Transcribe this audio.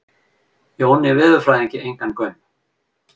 Jóni veðurfræðingi engan gaum.